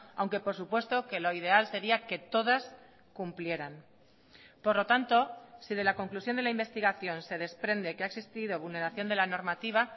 aunque por supuesto que lo ideal sería que todas cumplieran por lo tanto si de la conclusión de la investigación se desprende que ha existido vulneración de la normativa